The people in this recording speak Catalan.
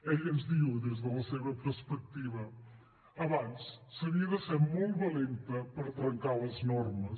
ella ens diu des de la seva perspectiva abans s’havia de ser molt valenta per trencar les normes